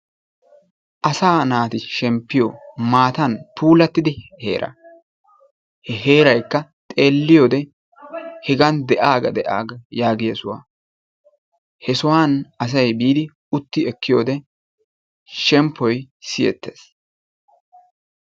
Asaa naati shemppiyo maatan puulattida heeraa. He heeraykka xeelliyyode hegan de"aaga de"aaga yaagiya sohuwa. He sohuwan asayi biidi utti ekkiyode shemppoyi siyettes.